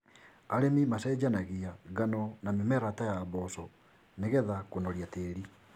Arĩmĩ macenjanagia ngano na mĩmera ta ya mboco nĩgetha kũnoria tĩri.